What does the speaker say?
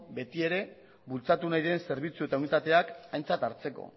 beti ere bultzatu nahi den zerbitzu eta unitateak aintzat hartzeko